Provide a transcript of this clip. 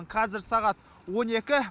қазір сағат он екі